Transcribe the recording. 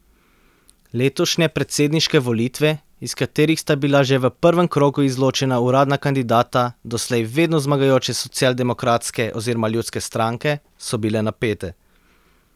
Letošnje predsedniške volitve, iz katerih sta bila že v prvem krogu izločena uradna kandidata doslej vedno zmagujoče socialdemokratske oziroma ljudske stranke, so bile napete.